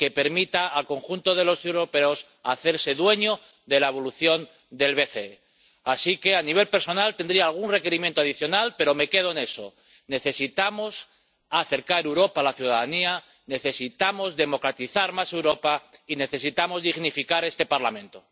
una lista que permita al conjunto de los europeos hacerse dueño de la evolución del BCE. Así que, aunque a nivel personal tendría algún requerimiento adicional, me quedo en eso necesitamos acercar Europa a la ciudadanía, necesitamos democratizar más Europa y necesitamos dignificar este Parlamento.